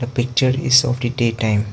The picture is of the day time.